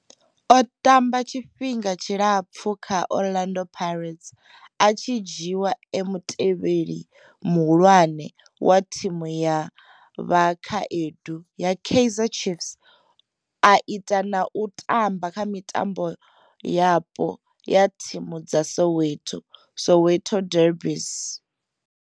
O tamba tshifhinga tshilapfhu kha Orlando Pirates, a tshi dzhiiwa e mutevheli muhulwane wa thimu ya vhakhaedu ya Kaizer Chiefs, a ita na u tamba kha mitambo yapo ya thimu dza Soweto Soweto derbies.